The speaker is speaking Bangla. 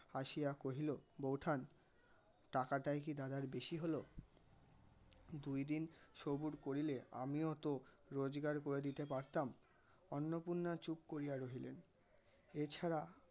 আসিয়া কহিল, বৌঠান টাকাটাই কি দাদার বেশি হল দুই দিন সবুর করিলে আমিও তো রোজগার করে দিতে পারতাম. অন্নপূর্ণা চুপ করিয়া রহিলেন. এছাড়া